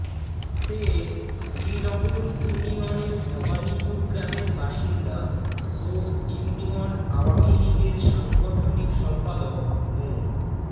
সে শ্রীনগর ইউনিয়নের ভবানীপুর গ্রামের বাসিন্দা ও ইউনিয়ন আওয়ামী লীগের সাংগঠনিক সম্পাদক মো